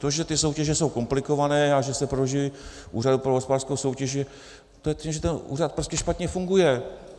To, že ty soutěže jsou komplikované a že se prodlužují Úřadu pro hospodářskou soutěž, to je tím, že ten úřad prostě špatně funguje.